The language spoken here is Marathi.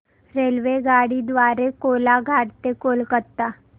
रेल्वेगाडी द्वारे कोलाघाट ते कोलकता